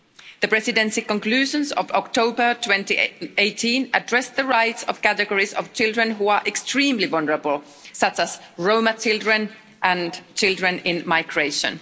The Presidency conclusions of October 2018 addressed the rights of categories of children who are extremely vulnerable, such as Roma children and children in migration.